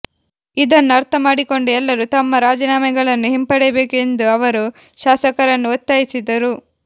ಇದನ್ನು ಅರ್ಥ ಮಾಡಿಕೊಂಡು ಎಲ್ಲರೂ ತಮ್ಮ ರಾಜೀನಾಮೆಗಳನ್ನು ಹಿಂಪಡೆಯಬೇಕು ಎಂದು ಅವರು ಶಾಸಕರನ್ನು ಒತ್ತಾಯಿಸಿದರು